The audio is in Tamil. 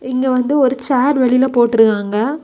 இங்க வந்து ஒரு சேர் வெளில போட்ருக்காங்க.